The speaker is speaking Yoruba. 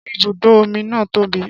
Ṣé ibùdó omi na tóbi?